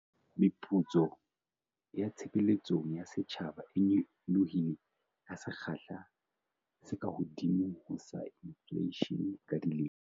Meputso ya tshebeletsong ya setjhaba e nyolohile ka sekgahla se kahodimo ho sa infleishene ka dilemo